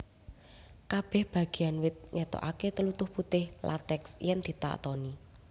Kabèh bagéan wit ngetokaké tlutuh putih lateks yèn ditatoni